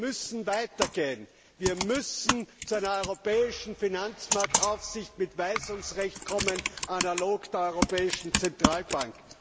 Wir müssen weiter gehen, wir müssen zu einer europäischen Finanzmarktaufsicht mit Weisungsrecht kommen, analog zur Europäischen Zentralbank.